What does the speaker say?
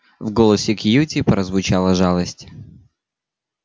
в голосе кьюти прозвучала жалость